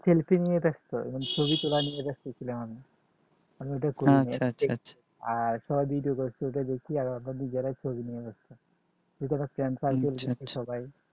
selfie নিয়ে ব্যস্ত এবং ছবি তোলা নিয়ে ব্যস্ত ছিলম্ আমি আমি ওটা আচ্ছা আচ্ছা, আর সবাই video করছে ওটা দেখে আমরা নিজেরাই ছবি নিয়ে ব্যস্ত, করেছিলো সবাই